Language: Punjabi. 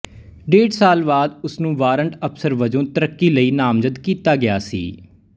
ਡੇਢ ਸਾਲ ਬਾਅਦ ਉਸ ਨੂੰ ਵਾਰੰਟ ਅਫਸਰ ਵਜੋਂ ਤਰੱਕੀ ਲਈ ਨਾਮਜ਼ਦ ਕੀਤਾ ਗਿਆ ਸੀ